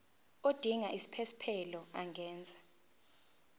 odinga isiphesphelo angenza